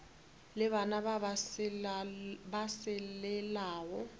le bana ba ba selelago